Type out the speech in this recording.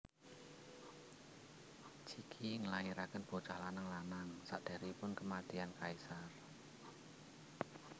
Cixi nglahirakén bocah lanang lanang sakdéréngipun kèmatian kaisar